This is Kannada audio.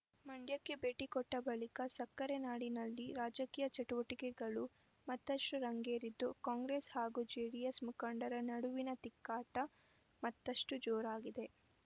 ಮಂಡ್ಯಕ್ಕೆ ಭೇಟಿ ಕೊಟ್ಟಬಳಿಕ ಸಕ್ಕರೆ ನಾಡಿನಲ್ಲಿ ರಾಜಕೀಯ ಚಟುವಟಿಕೆಗಳು ಮತ್ತಷ್ಟುರಂಗೇರಿದ್ದು ಕಾಂಗ್ರೆಸ್‌ ಹಾಗೂ ಜೆಡಿಎಸ್‌ ಮುಖಂಡರ ನಡುವಿನ ತಿಕ್ಕಾಟ ಮತ್ತಷ್ಟುಜೋರಾಗಿದೆ